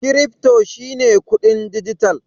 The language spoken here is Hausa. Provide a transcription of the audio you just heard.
Krifto shi ne kuɗin dijital.